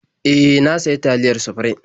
E, na sayi taliyar Sufrim.